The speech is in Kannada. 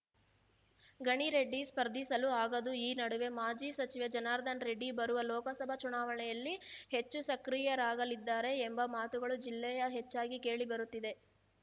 ಗಣಿ ರೆಡ್ಡಿ ಸ್ಪರ್ಧಿಸಲು ಆಗದು ಈ ನಡುವೆ ಮಾಜಿ ಸಚಿವ ಜನಾರ್ದನ ರೆಡ್ಡಿ ಬರುವ ಲೋಕಸಭಾ ಚುನಾವಣೆಯಲ್ಲಿ ಹೆಚ್ಚು ಸಕ್ರಿಯರಾಗಲಿದ್ದಾರೆ ಎಂಬ ಮಾತುಗಳು ಜಿಲ್ಲೆಯ ಹೆಚ್ಚಾಗಿ ಕೇಳಿ ಬರುತ್ತಿವೆ